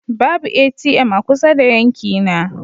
Babu ATM a kusa da yankina.